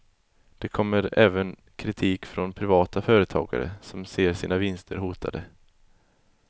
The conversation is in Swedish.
Det kommer även kritik från privata företagare som ser sina vinster hotade.